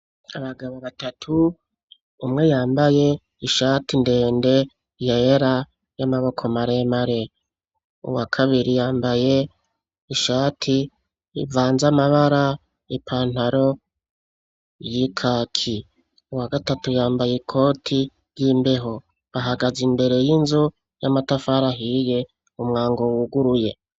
Abagabo batatu, umwe yambaye ishati ndende yera y'amaboko maremare uwakabiri yambaye ishati ivanze amabara ipantaro y'ikaki, uwagatatu yambaye ikoti y'imbeho, bahagaze imbere y'inzu y'amatafari ahiye, umwango wuguruye.